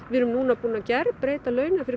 við erum búin að breyta launakerfi